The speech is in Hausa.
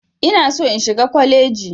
Ina so in shiga kwaleji.